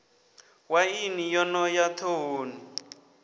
waini yo no ya ḓhohoni